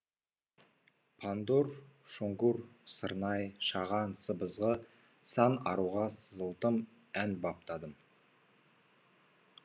пандур шонгур сырнай шаған сыбызғы сан аруға сызылтын ән баптадым